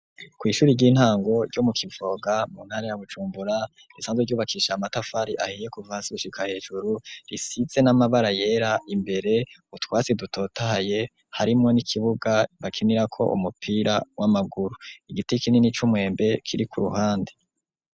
Kw'ishuri ry'intango ryo mu Kivoga mu ntara ya Bujumbura risanzwe ryubakisha amatafari ahiye kuva hasi gushika hejuru risize n'amabara yera, imbere utwatsi dutotaye harimwo n'ikibuga bakinirako umupira w'amaguru, igiti kinini c'umwembe kiri ku ruhande.